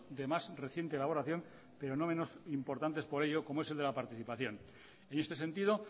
de más reciente elaboración pero no menos importante por ello como es el de la participación en este sentido